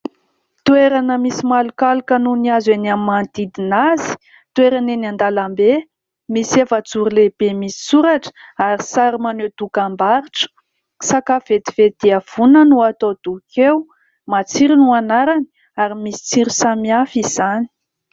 Toerana misy malomaloka noho ny hazo eny amin'ny manodidina azy, toerana eny an-dalambe misy efajoro lehibe misy soratra ary sary maneho dokam-barotra, sakafo vetivety dia vonana no atao doka eo ; matsiro no anarany ary misy tsiro samihafa izany.